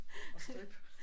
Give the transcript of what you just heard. Og strip